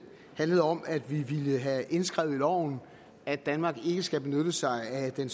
handlede om at vi ville have indskrevet i loven at danmark ikke skal benytte sig af den